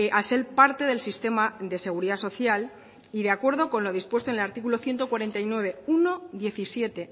al ser parte del sistema de seguridad social y de acuerdo con lo dispuesto en el artículo ciento cuarenta y nueve punto uno punto diecisiete